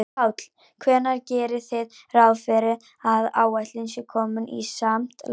Páll: Hvenær gerið þið ráð fyrir að áætlun sé komin í samt lag?